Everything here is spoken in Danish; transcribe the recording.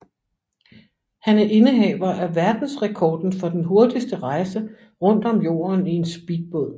Han er indehaver af verdensrekorden for den hurtigste rejse rundt om jorden i en speedbåd